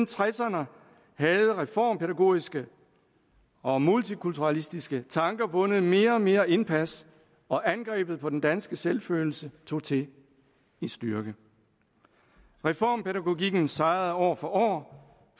tresserne havde reformpædagogiske og multikulturalistiske tanker vundet mere og mere indpas og angrebet på den danske selvfølelse tog til i styrke reformpædagogikken sejrede år for år